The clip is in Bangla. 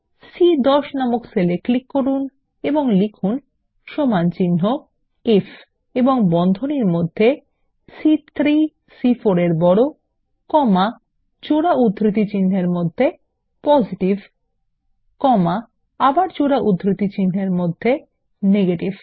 সি10 নামক সেল এ ক্লিক করুন এবং লিখুন সমানচিহ্ন আইএফ এবং বন্ধনীর মধ্যে সি3 সি4 -এর বড় কমা জোড়া উদ্ধৃতিচিনহের মধ্যে পজিটিভ কমা এবং আবার জোড়া উদ্ধৃতিচিনহের মধ্যে নেগেটিভ